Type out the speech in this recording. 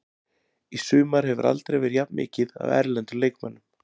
Í sumar hefur aldrei verið jafn mikið af erlendum leikmönnum.